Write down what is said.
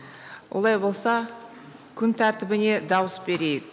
олай болса күн тәртібіне дауыс берейік